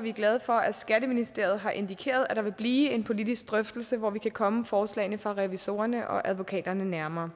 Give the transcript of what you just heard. vi glade for at skatteministeriet har indikeret at det vil blive en politisk drøftelse hvor vi kan komme forslagene fra revisorerne og advokaterne nærmere